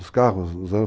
Os carros